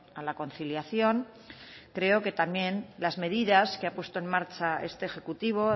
a la conciliación creo que también las medidas que ha puesto en marcha este ejecutivo